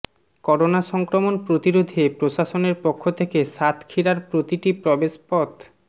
corona সংক্রমণ প্রতিরোধে প্রশাসনের পক্ষ থেকে সাতক্ষীরার প্রতিটি প্রবেশপথ